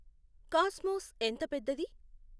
cosmos ఎంత పెద్దది